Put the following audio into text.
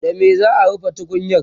da me za'a rufe tukunyar?